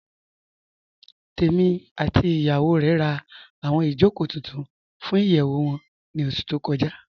Tèmí àti ìyàwó rè rá awọn ìjọkò tuntun fún ìyẹwu wọn ni oṣù tó kọja